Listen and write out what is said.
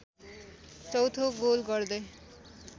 चौथो गोल गर्दै